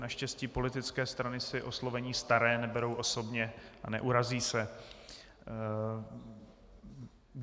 Naštěstí politické strany si oslovení staré neberou osobně a neurazí se.